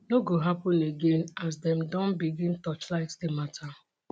no go happun again as dem don begin torchlight di mata